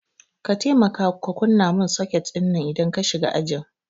ka temaka ka kunna min soket dinnan idan ka shiga ajin